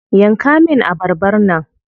Yanka min abarbar nan.